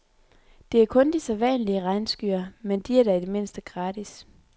Der er kun de sædvanlige regnskyer, men de er da i det mindste gratis.